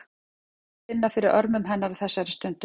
Það er gott að finna fyrir örmum hennar á þessari stundu.